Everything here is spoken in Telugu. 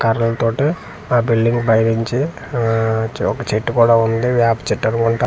కర్రల్ తోటి ఆ బిల్డింగ్ పైనుంచి ఆ చ ఒక చెట్టు కూడా ఉంది వేప చెట్టనుకుంటా.